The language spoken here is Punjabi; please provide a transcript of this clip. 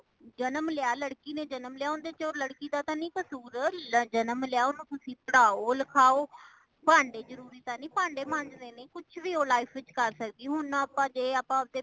ਜਨਮ ਲਿਆ, ਲੜਕੀ ਨੇ ਜਨਮ ਲਿਆ , ਓਨ੍ਦੇ ਵਿੱਚ ਲੜਕੀ ਦਾ ਤਾ ਨਹੀਂ ਕਸੂਰ , ਜਨਮ ਲਿਆ ਓਨੁ ਤੁਸੀਂ ਪੜਾਓ ਲਿਖਾਓ , ਪਾਂਡੇ ਜਰੂਰੀ ਤਾ ਨਹੀਂ ਪਾਂਡੇ ਮਾਂਜਣੇ ਨੇ ,ਕੁੱਛ ਵੀ ਉਹ life ਵਿਚ ਕਾਰ ਸੱਕਦੀ ਏ , ਹੁਣ ਆਪਾ ਜੇ ਆਪਾ ਉਸਦੇ